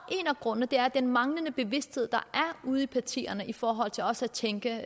af grundene er den manglende bevidsthed der er ude i partierne i forhold til også at tænke